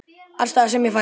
Alls staðar sem ég fer.